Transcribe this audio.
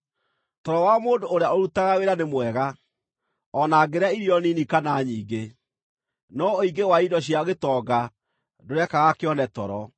Toro wa mũndũ ũrĩa ũrutaga wĩra nĩ mwega, o na angĩrĩa irio nini kana nyingĩ, no ũingĩ wa indo cia gĩtonga ndũrekaga kĩone toro.